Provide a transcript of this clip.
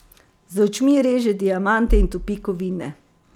Z očmi reže diamante in topi kovine!